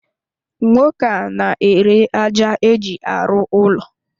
Nwoke a n'ere aja eji arụ ụlọ.